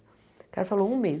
O cara falou um mês.